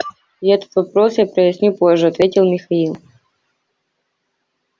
этот вопрос я проясню позже ответил михаил